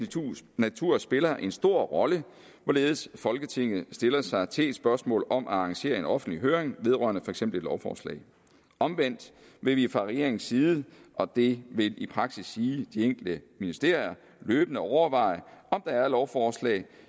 natur spiller en stor rolle hvorledes folketinget stiller sig til et spørgsmål om at arrangere en offentlig høring vedrørende for eksempel et lovforslag omvendt vil vi fra regeringens side og det vil i praksis sige de enkelte ministerier løbende overveje om der er lovforslag